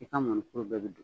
I ka mɔnikuru bɛɛ bɛ don.